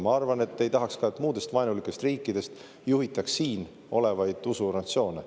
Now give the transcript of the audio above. Ma arvan, et te ei tahaks ka, et muudest vaenulikest riikidest juhitaks siin olevaid usuorganisatsioone.